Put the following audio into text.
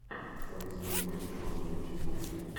самый свежий матч команды манчестер юнайтед